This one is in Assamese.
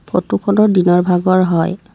ফটোখনৰ দিনৰ ভাগৰ হয়।